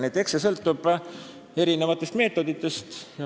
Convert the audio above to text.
Nii et eks see sõltub meetoditest.